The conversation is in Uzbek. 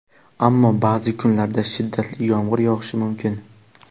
ammo ba’zi kunlarda shiddatli yomg‘ir yog‘ishi mumkin.